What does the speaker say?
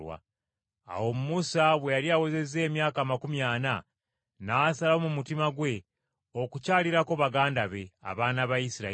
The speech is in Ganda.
“Awo Musa bwe yali awezezza emyaka amakumi ana, n’asalawo mu mutima gwe okukyalirako baganda be, abaana ba Isirayiri.